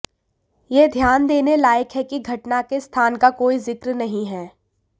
यह ध्यान देने लायक है कि घटना के स्थान का कोई ज़िक्र नहीं है